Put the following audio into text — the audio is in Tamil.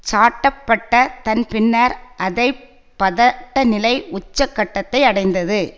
சாட்டப்பட்டதன் பின்னர் அதை பதட்ட நிலை உச்ச கட்டத்தை அடைந்தது